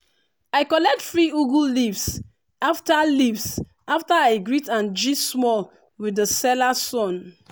i collect free ugu leaves after leaves after i greet and gist small with the seller son.